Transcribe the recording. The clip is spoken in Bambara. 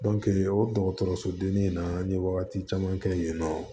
o dɔgɔtɔrɔsodennin in na an ye wagati caman kɛ yen nɔ